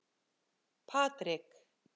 Patrik